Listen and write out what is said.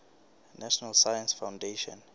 national science foundation